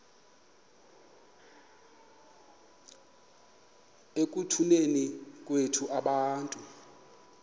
ekutuneni kwethu abantu